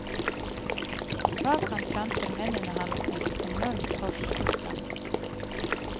Bak ham planter mennene hans et enormt kors i sanden.